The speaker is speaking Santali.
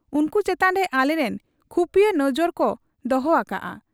ᱩᱱᱠᱩ ᱪᱮᱛᱟᱱᱨᱮ ᱟᱞᱮᱨᱮᱱ ᱠᱷᱩᱯᱤᱭᱟᱹ ᱱᱚᱡᱚᱨ ᱠᱚ ᱫᱚᱦᱚ ᱟᱠᱟᱜ ᱟ ᱾